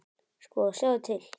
Sko, sjáðu til.